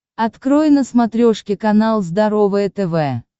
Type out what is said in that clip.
открой на смотрешке канал здоровое тв